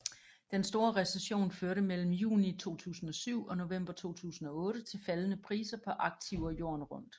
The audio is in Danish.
Den store recession førte mellem juni 2007 og november 2008 til faldende priser på aktiver jorden rundt